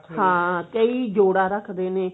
ਹਾਂ ਕਈ ਜੋੜਾ ਰੱਖਦੇ ਨੇ